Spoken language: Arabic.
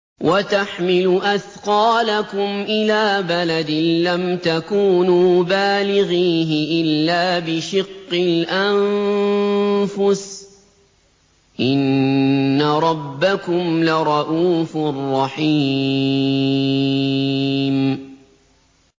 وَتَحْمِلُ أَثْقَالَكُمْ إِلَىٰ بَلَدٍ لَّمْ تَكُونُوا بَالِغِيهِ إِلَّا بِشِقِّ الْأَنفُسِ ۚ إِنَّ رَبَّكُمْ لَرَءُوفٌ رَّحِيمٌ